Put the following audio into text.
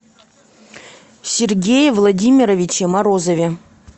сергее владимировиче морозове